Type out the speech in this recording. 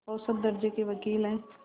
औसत दर्ज़े के वक़ील हैं